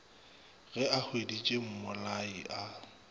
ge a hweditše mmolai a